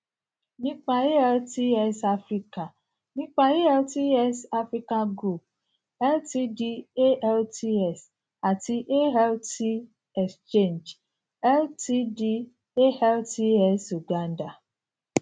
nipa altx africa nipa altx africa group ltd altx ati alt xchange ltd altx uganda